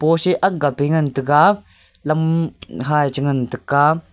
pose ak ga pe ngan taiga lam ha cha ngan taiga.